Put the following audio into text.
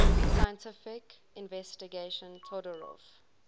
scientific investigation todorov